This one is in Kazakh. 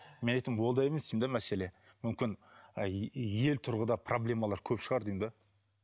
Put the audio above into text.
мен айтамын ондай емес мәселе мүмкін ел тұрғыда проблемалар көп шығар деймін де